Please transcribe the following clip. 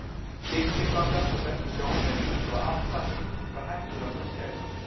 Kyrkislangan var hvergi sjáanleg, svo að Abba hin var hætt við að fara að skæla.